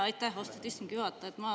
Aitäh, austatud istungi juhataja!